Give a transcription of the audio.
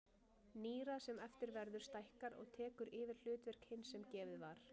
Nýrað sem eftir verður stækkar og tekur yfir hlutverk hins sem gefið var.